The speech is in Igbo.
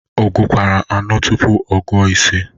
Ọ gukwara anọ tụpụ ọ gụo ise?